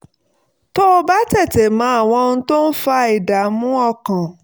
tó bá tètè mọ àwọn ohun tó ń fa ìdààmú ọkàn